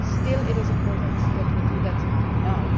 Still, it is important that we do act now.